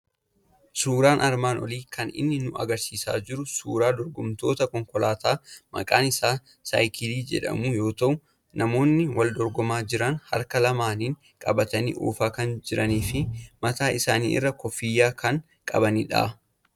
Suuraan armaan olii kan inni nu argisiisaa jiru suuraa dorgomtoota konkolaataa maqaan isaa Saayikilli jedhamu yoo ta'u, namoonni wal dorgomaa jiran harka lamaaniin qabatanii oofaa kan jiranii fi mataa isaaniirraa kuffiyyaa kan qabanidha.